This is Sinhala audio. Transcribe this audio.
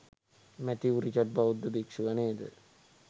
මැතිව් රිචඩ් බෞද්ධ භික්‍ෂුව නේද?